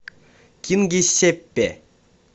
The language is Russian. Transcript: кингисеппе